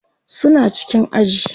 suna cikin aji